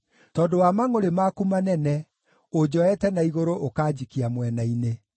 tondũ wa mangʼũrĩ maku manene, ũnjoete na igũrũ ũkanjikia mwena-inĩ.